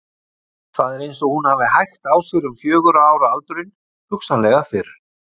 Það er eins og hún hafi hægt á sér um fjögurra ára aldurinn, hugsanlega fyrr.